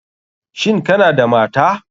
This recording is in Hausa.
Shin Kana da mata?